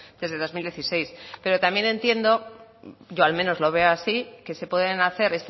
desde dos mil dieciséis pero también entiendo yo al menos lo veo así que se pueden hacer